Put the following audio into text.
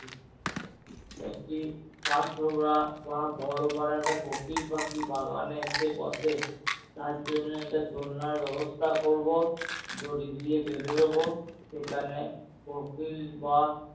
একটি কাঠ ঠোকরা বা বড়ো পারা একটা কোকিল পাখি বাগানে এসে বসে তার জন্য একটা দোলনার ব্যবস্থা করবো। দড়ি দিয়ে বেঁধে দেবো সেখানে কোকিল বা